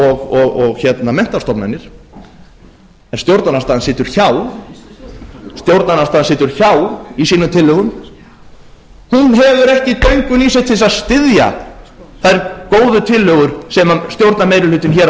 og menntastofnanir en stjórnarandstaðan situr hjá í sínum tillögum hún hefur ekki döngun í sér til þess að styðja þær góðu tillögur sem stjórnarmeirihlutinn hér á